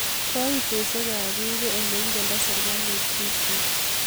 Koitoshek ab pik ko ole ingendoi serekalit pik chik